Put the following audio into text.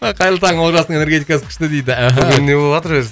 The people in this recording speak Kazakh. ы қайырлы таң олжастың энергетикасы күшті дейді аха бүгін не боватыр өзі